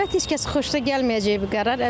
Əlbəttə heç kəs xoşuna gəlməyəcək bu qərar.